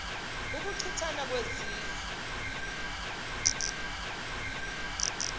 ukuchi thana kwezizwe